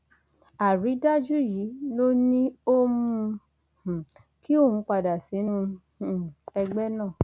àrídájú yìí ló ní ó mú um kí òun padà sínú um ẹgbẹ náà